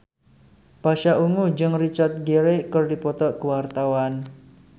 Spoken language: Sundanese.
Pasha Ungu jeung Richard Gere keur dipoto ku wartawan